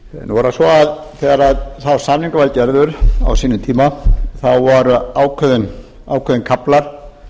nú er það svo að þegar sá samningur var gerður á sínum tíma voru ákveðnir kaflar